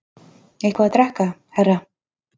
Eitthvað að drekka, herra?